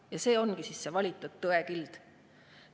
Ja see ongi see valitud tõekild.